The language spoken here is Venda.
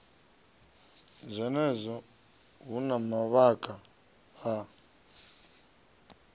zwenezwo hu na mavhaka a